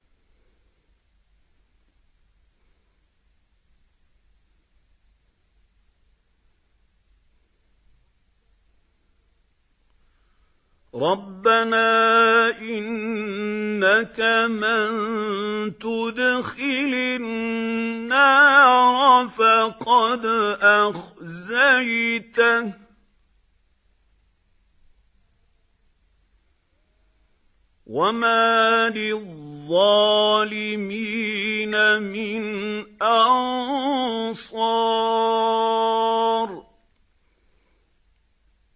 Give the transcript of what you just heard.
رَبَّنَا إِنَّكَ مَن تُدْخِلِ النَّارَ فَقَدْ أَخْزَيْتَهُ ۖ وَمَا لِلظَّالِمِينَ مِنْ أَنصَارٍ